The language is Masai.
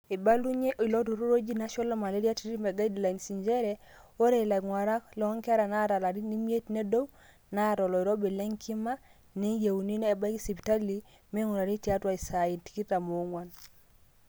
eibalunyie ilo turrur oji National malaria treatment guidelines njere ore ilang'urak loonkera naata ilarin imiet nedou naata oloirobi lenkima neyiuni nebaiki sipitali ming'urari tiatwa isaan tikitam oong'wan